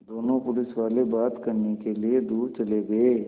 दोनों पुलिसवाले बात करने के लिए दूर चले गए